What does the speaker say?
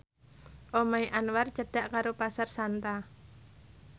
omahe Anwar cedhak karo Pasar Santa